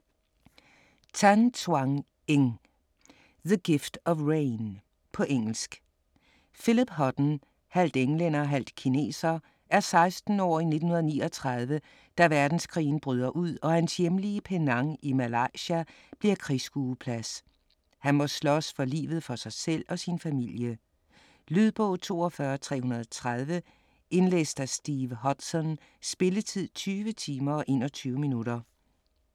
Tan, Twan Eng: The gift of rain På engelsk. Philip Hutton, halvt englænder, halvt kineser, er 16 år i 1939, da verdenskrigen bryder ud og hans hjemlige Penang i Malaya bliver krigsskueplads. Han må slås for livet for sig selv og sin familie. Lydbog 42330 Indlæst af Steve Hodson. Spilletid: 20 timer, 21 minutter.